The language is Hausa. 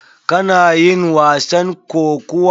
Kana yin wasan kokuwa?